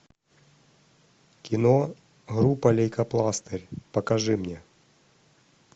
кино группа лейкопластырь покажи мне